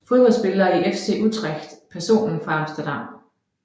Fodboldspillere fra FC Utrecht Personer fra Amsterdam